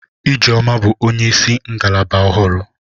Ijeoma bụ onyeisi ngalaba ọhụrụ.